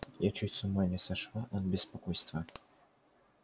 я чуть с ума не сошла от беспокойства